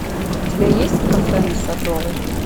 у тебя есть кафе на садовой